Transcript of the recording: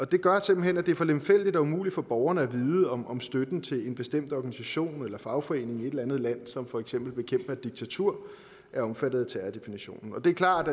det gør simpelt hen at det er for lemfældigt og umuligt for borgerne at vide om om støtten til en bestemt organisation eller fagforening i et eller andet land som for eksempel bekæmper diktatur er omfattet af terrordefinitionen det er klart